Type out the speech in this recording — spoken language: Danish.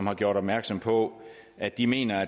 har gjort opmærksom på at de mener